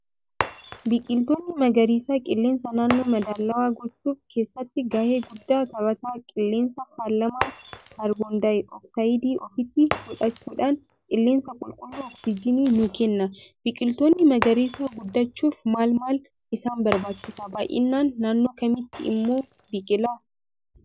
Biqiltoonni magariisa qilleensa naannoo madaalawaa gochuuf keessatti gahee guddaa tabata qilleensa faalamaa kaarboondayi ooxaayidii ofitti fudhachuudhaan qilleensa qulqullu oksijonii nuu Kenna. Biqiltoonni magariisa guddachuuf maal maal isaan barbaachisa baay'inaan naannoo Kamitti immoo biqila?